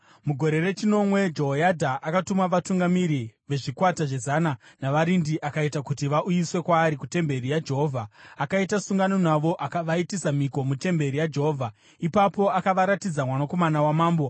Mugore rechinomwe Jehoyadha akatuma vatungamiri vezvikwata zvezana, navarindi akaita kuti vauyiswe kwaari kutemberi yaJehovha. Akaita sungano navo akavaitisa mhiko mutemberi yaJehovha. Ipapo akavaratidza mwanakomana wamambo.